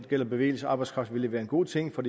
gælder bevægelse af arbejdskraft vil være en god ting for